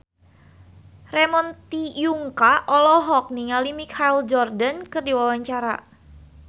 Ramon T. Yungka olohok ningali Michael Jordan keur diwawancara